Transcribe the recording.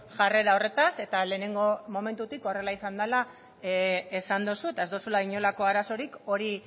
jarrera horretaz eta lehenengo momentutik horrela izan dela esan duzu eta ez duzula inolako arazorik hori